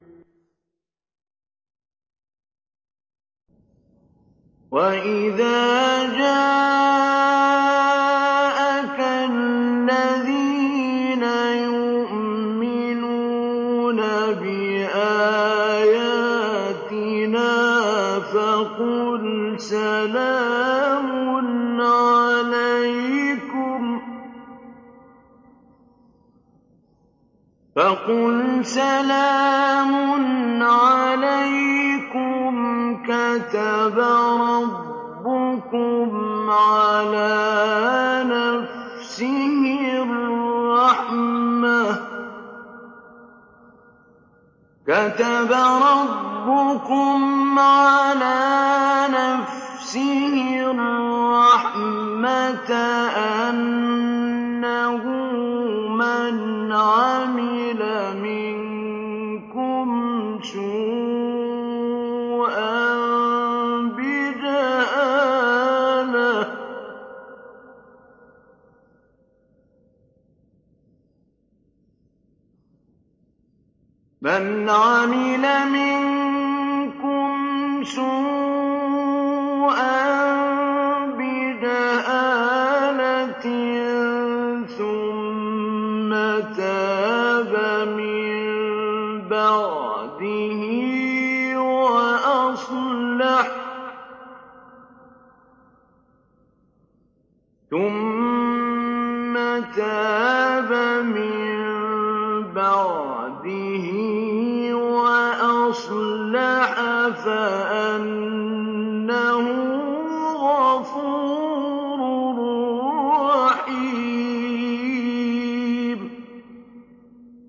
وَإِذَا جَاءَكَ الَّذِينَ يُؤْمِنُونَ بِآيَاتِنَا فَقُلْ سَلَامٌ عَلَيْكُمْ ۖ كَتَبَ رَبُّكُمْ عَلَىٰ نَفْسِهِ الرَّحْمَةَ ۖ أَنَّهُ مَنْ عَمِلَ مِنكُمْ سُوءًا بِجَهَالَةٍ ثُمَّ تَابَ مِن بَعْدِهِ وَأَصْلَحَ فَأَنَّهُ غَفُورٌ رَّحِيمٌ